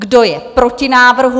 Kdo je proti návrhu?